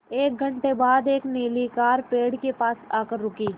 एक घण्टे बाद एक नीली कार पेड़ के पास आकर रुकी